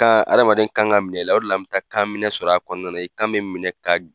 hadamaden kan ka ka minɛ la o de la bɛ taa kan minɛ sɔrɔ a kɔnɔna i kan bɛ minɛ ka